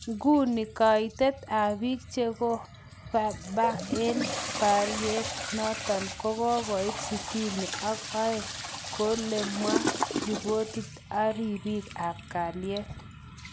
Nguni kaitet ab bik chekovebar eng bariat notot kokogoit sitini ak aeng koulegomwa ripotit abribik ab kalyet.